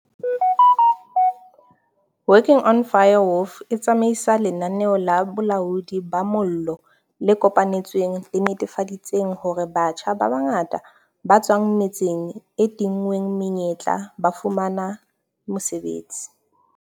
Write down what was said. Working on Fire, WOF, e tsamaisa lenaneo la bolaodi ba mollo le kopanetsweng le netefaditseng hore batjha ba bangata ba tswang metseng e tinngweng menyetla ba fumana mosebetsi.